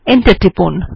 enter টিপুন